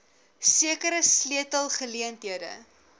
sekere sleutel geleenthede